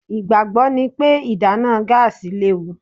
Ìgbàgbọ́ ni pé ìdáná gáàsì léwu.